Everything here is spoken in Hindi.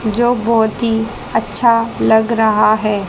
जो बहुत ही अच्छा लग रहा है।